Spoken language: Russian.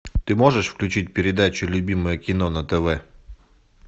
ты можешь включить передачу любимое кино на тв